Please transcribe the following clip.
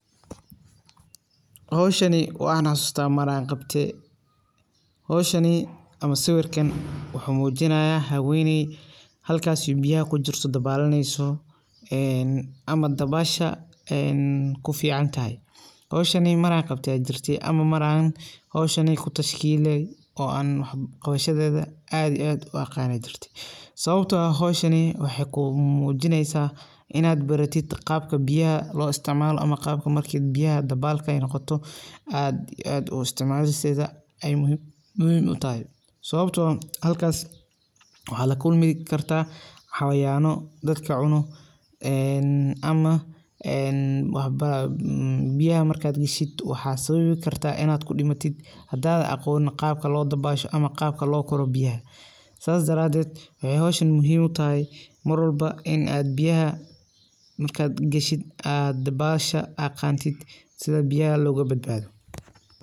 Howshani waan xasusta mar aan qabte, howshan ama sawirkan waxay muujinasa haweney taas oo biyaha kujirto ama dabasha kufican, howshan mar aan qabte jirto ama aan iskutaskiliye, howshan maxay kulasacideyneysa qaabka lo dabasho oo aad muhim uu ah sababtana biyaha kudaxoodha waxa lakulmikarta cayayan ama xawayanka biyaha kudaxoodha kunol sidhokale maxay kuunoqkartaa badbada danka dabasha.